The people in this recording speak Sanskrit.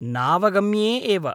नावगम्ये एव।